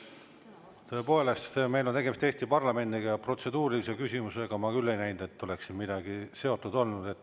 Tõepoolest, meil on tegemist Eesti parlamendiga, ja protseduurilise küsimusega, ma küll ei näinud, et oleks siin midagi seotud olnud.